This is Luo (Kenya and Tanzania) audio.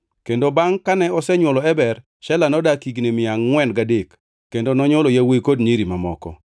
Kendo bangʼ kane osenywolo Eber, Shela nodak higni mia angʼwen gadek kendo nonywolo yawuowi kod nyiri mamoko.